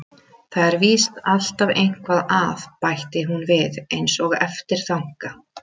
Það er víst alltaf eitthvað að, bætti hún við einsog eftirþanka.